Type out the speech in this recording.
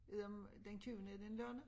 Ved om den tyvende er det en lørdag